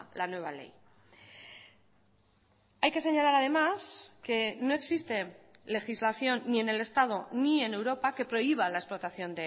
la nueva ley hay que señalar además que no existe legislación ni en el estado ni en europa que prohíba la explotación